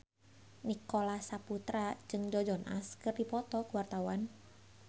Nicholas Saputra jeung Joe Jonas keur dipoto ku wartawan